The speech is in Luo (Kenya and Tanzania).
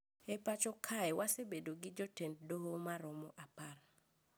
E pacho kae wasebedo gi jotend doho maromo apar